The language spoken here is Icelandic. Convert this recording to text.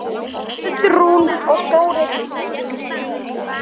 Guðrún og Þórir Karl.